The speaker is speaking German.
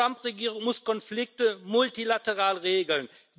Die Trump Regierung muss Konflikte multilateral regeln.